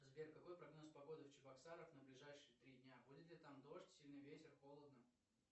сбер какой прогноз погоды в чебоксарах на ближайшие три дня будет ли там дождь сильный ветер холодно